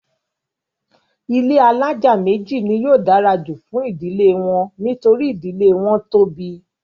ilé alájà méjì ni yóò dára jù fún ìdílé wọn nítorí ìdílé wọn tóbi.